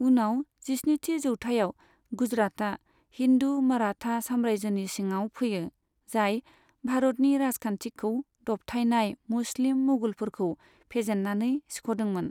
उनाव जिस्निथि जौथाययाव, गुजरातआ हिन्दु मराठा सामरायजोनि सिङाव फैयो, जाय भारतनि राजखान्थिखौ दबथायनाय मुस्लिम मुगलफोरखौ फेजेननानै सिख'दोंमोन।